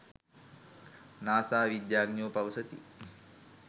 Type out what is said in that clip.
NASA විද්‍යාඥයෝ පවසති